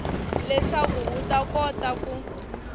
leswaku u ta kota ku